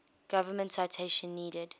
government citation needed